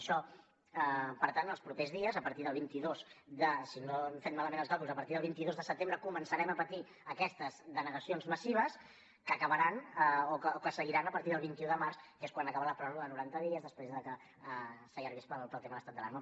això per tant en els propers dies si no hem fet malament els càlculs a partir del vint dos de setembre començarem a patir aquestes denegacions massives que acabaran o que seguiran a partir del vint un de març que és quan acaba la pròrroga de noranta dies després de que s’allargués pel tema l’estat d’alarma